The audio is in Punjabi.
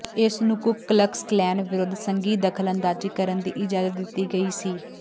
ਇਸ ਨੂੰ ਕੁੱਕ ਕਲਕਸ ਕਲੈਨ ਵਿਰੁੱਧ ਸੰਘੀ ਦਖਲਅੰਦਾਜ਼ੀ ਕਰਨ ਦੀ ਇਜਾਜ਼ਤ ਦਿੱਤੀ ਗਈ ਸੀ